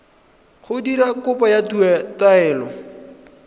go dira kopo ya taelo